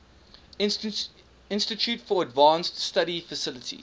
institute for advanced study faculty